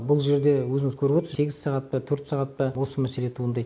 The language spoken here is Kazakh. бұл жерде өзіңіз көріп отырсыз сегіз сағат па төрт сағат па осы мәселе туындайды